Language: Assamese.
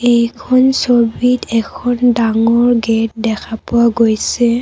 এইখন ছবিত এখন ডাঙৰ গেট দেখা পোৱা গৈছে।